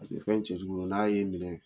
Paseke fɛn cɛ jugu de n'a ye minɛ